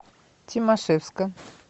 тимашевска